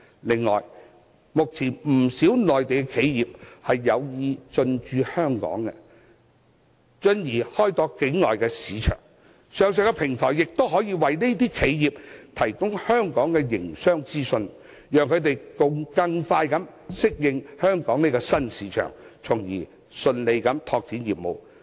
此外，目前不少內地企業有意進駐香港，進而開拓境外市場，上述平台亦可以為這些企業提供香港的營商資訊，讓它們更快適應香港這個新市場，順利拓展業務。